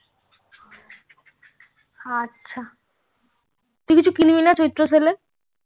আচ্ছা তুই কিছু কিনবি না চিত্র sell এ